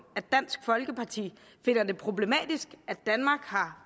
at dansk folkeparti finder det problematisk at danmark har